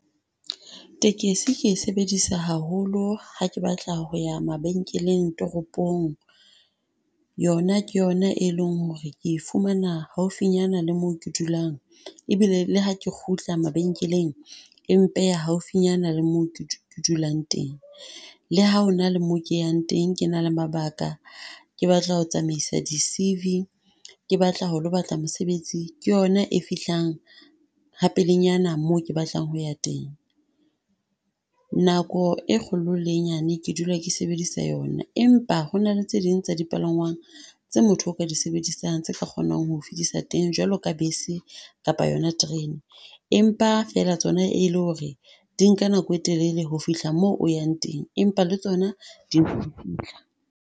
Takesi ke e sebedisa haholo ha ke batla ho ya mabenkeleng toropong, yona ke yona e leng ho re ke fumana haufinyana le mo ke dulang. Ebile le ha ke kgutla mabenkeleng e mpeya haufinyana le moo ke ke dulang teng. Le ha hona le moo ke yang teng ke na le mabaka, ke batla ho tsamaisa di C_V, ke batla ho lo batla mosebetsi. Ke yona e fihlang ha pelenyana moo ke batlang ho ya teng, nako e kgolo le e nyane ke dula ke sebedisa yona, empa hona le tse ding tsa dipalangwang tse motho o ka di sebedisang tse tla kgonang ho fedisa teng. Jwalo ka bese kapa yona trene, empa fela tsona e le ho re di nka nako e telele ho fihla moo o yang teng, empa le tsona .